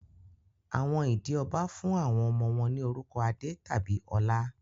Àwọn ìdí ọbá fún àwọn ọmọ wọ́n ní orúkọ Adé tàbí Ọlá